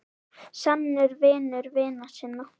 Sannur vinur vina sinna.